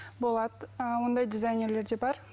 болады ы ондай дизайнерлер де бар